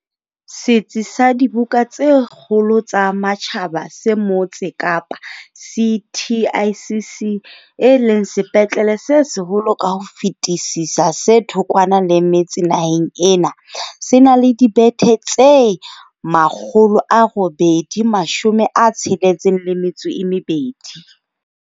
Setsi sa dibuka tse kgolo tsa matjhaba se motse Kapa CTICC, e leng sepetlele se seholo ka ho fetisisa se thokwana le metse naheng ena, se na le dibethe tse 862.